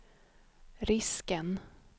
risken